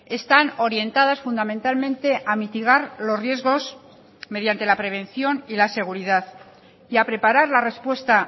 están orientadas fundamentalmente a mitigar los riesgos mediante la prevención y la seguridad y a preparar la respuesta